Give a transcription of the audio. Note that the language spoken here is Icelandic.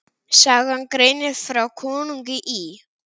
Sagan greinir frá konungi í